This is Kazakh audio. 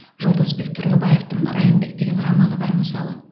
жолдасбек тұрлыбаевтың райымбек деген романы бар мысалы